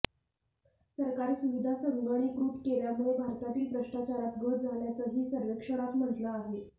सरकारी सुविधा संगणीकृत केल्यामुळे भारतातील भ्रष्टाचारात घट झाल्याचंही सर्व्हेक्षणात म्हटलं आहे